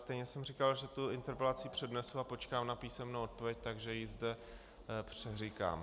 Stejně jsem říkal, že tu interpelaci přednesu a počkám na písemnou odpověď, takže ji zde přeříkám.